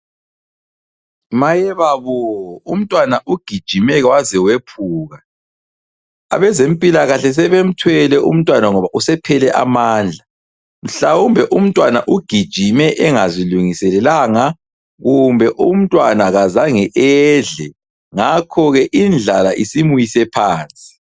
Mayebabo! Umntwana ugijime waze wephuka, abezempilakahle sebemthwele umntwana ngoba usephele amandla , mhlawumbe umntwana ugijime engazilungiselelanga , kumbe umntwana kazange edle , ngakhoke indlala isimwise phansi.